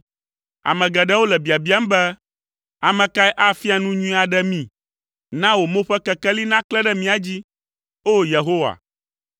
Ame geɖewo le biabiam be, “Ame kae afia nu nyui aɖe mí?” Na wò mo ƒe kekeli naklẽ ɖe mía dzi, O! Yehowa.